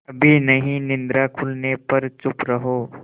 अभी नहीं निद्रा खुलने पर चुप रहो